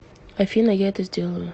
афина я это сделаю